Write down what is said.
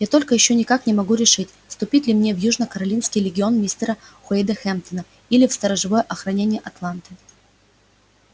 я только ещё никак не могу решить вступить ли мне в южно-каролинский легион мистера уэйда хэмптона или в сторожевое охранение атланты